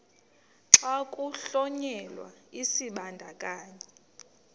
xa kuhlonyelwa isibandakanyi